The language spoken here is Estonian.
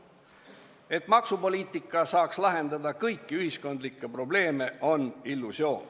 Et maksupoliitikaga saab lahendada kõiki ühiskondlikke probleeme, on illusioon.